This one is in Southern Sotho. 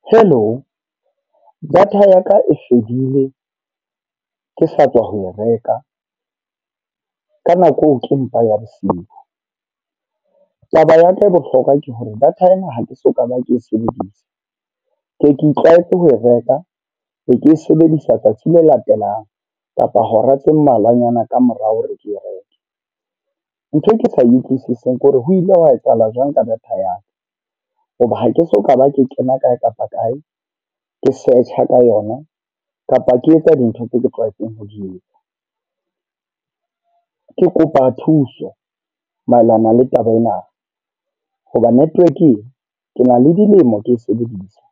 Hello. Data ya ka e fedile ke sa tswa ho e reka, ka nako eo ke mpa ya bosiu. Taba ya ka ya bohlokwa ke hore data ena ha ke soka ba ke e sebedisa. Ke ke itlwaetse ho reka, be ke e sebedisa tsatsi le latelang kapa hora tse mmalwanyana kamora hore ke reke. Ntho e ke sa e utlwisiseng ke hore ho ile hwa etsahala jwang ka data ya ka. Hoba ha ke soka ba ke kena kae kapa kae. Ke search-a ka yona, kapa ke etsa dintho tseo ke tlwaetseng ho di etsa. Ke kopa thuso, maelana le taba ena. Hoba network ee ke na le dilemo ke e sebedisa.